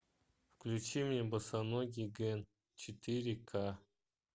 включи мне босоногий гэн четыре к